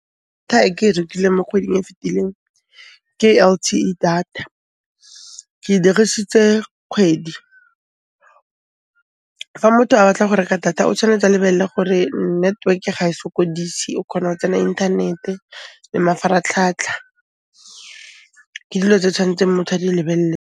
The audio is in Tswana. e ke e rekileng mo kgweding e fitileng, ke L_T_E data, ke e dirisitse kgwedi. Fa motho a batla go reka data o tshwanetse a lebelle gore network-e ga e sokodise, o khona go tsena inthanete le mafaratlhatlha, ke dilo tse tshwantseng motho a di lebelle.